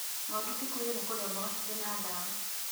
Ng'ondu cikuire nĩ kũrĩa mboga cirĩ na dawa